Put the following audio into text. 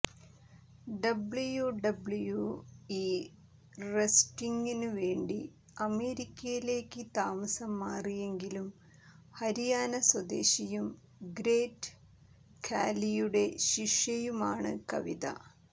WWE റെസ്ലിംഗിനു വേണ്ടി അമേരിക്കയിലേയ്ക്ക് താമസം മാറിയെങ്കിലും ഹരിയാന സ്വദേശിയും ഗ്രേറ്റ് ഖാലിയുടെ ശിഷ്യയുമാണ് കവിത